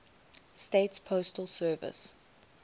states postal service